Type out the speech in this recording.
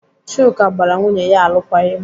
Chuka gbara nwunye ya alụkwaghịm.